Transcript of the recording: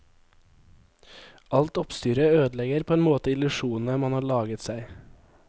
Alt oppstyret ødelegger på en måte illusjonene man har laget seg.